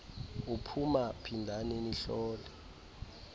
uphuma phindani nihlole